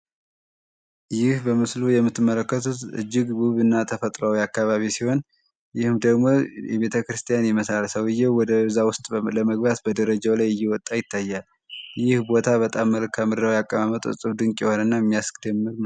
ይህ በምስሉ ላይ የምትመለከቱት እጅግ ውብ ተፈጥሯዊ አካባቢ ሲሆን የሚገኘውን በቤተክርስቲያን አካባቢ ሲሆን ይህ በደረጃው ላይ ወደ ላይ እየወጣ ይታያል የቦታ በጣም ምድራዊ አቀባመጡ ድንቅ የሆነ ቦታ የሚያስደንቅ ነው።